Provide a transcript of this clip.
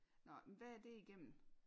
Nåh men hvad er det igennem?